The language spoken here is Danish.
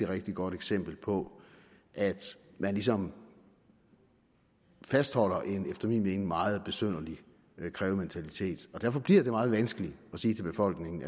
rigtig godt eksempel på at man ligesom fastholder en efter min mening meget besynderlig krævementalitet derfor bliver det meget vanskeligt at sige til befolkningen